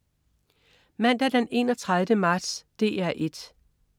Mandag den 31. marts - DR 1: